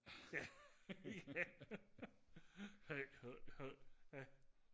ja ja